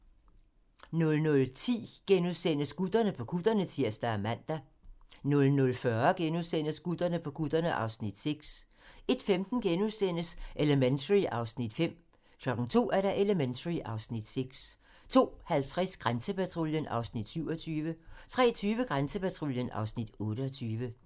00:10: Gutterne på kutterne (Afs. 5)*(tir og man) 00:40: Gutterne på kutterne (Afs. 6)* 01:15: Elementary (Afs. 5)* 02:00: Elementary (Afs. 6) 02:50: Grænsepatruljen (Afs. 27) 03:20: Grænsepatruljen (Afs. 28)